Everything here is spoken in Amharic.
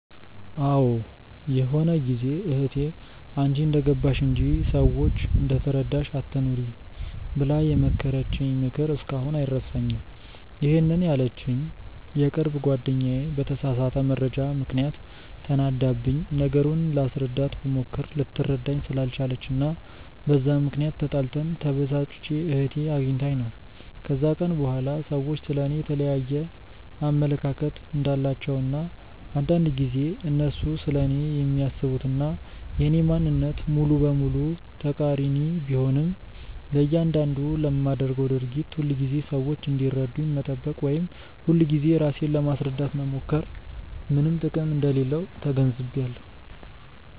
አዎ ይሆነ ጊዜ እህቴ "አንቺ እንደገባሽ እንጂ፤ ሰዎች እንደተረዳሽ አትኑሪ" ብላ የመከረችኝ ምክር እስካሁን አይረሳኝም፤ ይሄንን ያለችኝ የቅርብ ጓደኛዬ በተሳሳተ መረጃ ምክንያት ተናዳብኝ፤ ነገሩን ላስረዳት ብሞክር ልትረዳኝ ስላልቻለች እና በዛ ምክንያት ተጣልተን፤ ተበሳጭቼ እህቴ አግኝታኝ ነው። ከዛን ቀን በኋላ ሰዎች ስለ እኔ የየተለያየ አመለካከት እንዳላቸው እና አንዳንድ ጊዜ እነሱ ስለኔ የሚያስቡት እና የኔ ማንነት ሙሉ በሙሉ ተቃሪኒ ቢሆንም፤ ለያንዳንዱ ለማደርገው ድርጊት ሁልጊዜ ሰዎች እንዲረዱኝ መጠበቅ ወይም ሁልጊዜ ራሴን ለማስረዳት መሞከር ምንም ጥቅም እንደሌለው ተገንዝቢያለው።